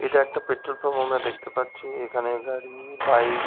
এটা একটা petrol pump আমরা দেখতে পাচ্ছি। এখানে গাড়ি বাইক ।